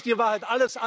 Das ist die Wahrheit.